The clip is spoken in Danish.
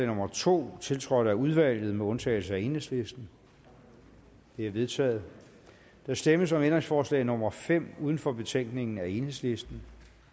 nummer to tiltrådt af udvalget med undtagelse af enhedslisten det er vedtaget der stemmes om ændringsforslag nummer fem uden for betænkningen af enhedslisten